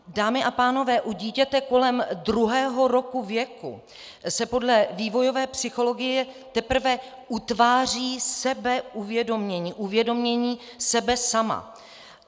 Dámy a pánové, u dítěte kolem druhého roku věku se podle vývojové psychologie teprve utváří sebeuvědomění, uvědomění sebe sama.